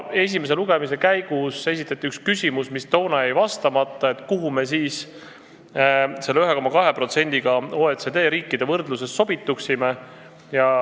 Esimese lugemise käigus esitati üks küsimus, mis toona jäi vastamata, nimelt, kuhu me selle 1,2%-ga OECD riikide võrdluses sobituksime.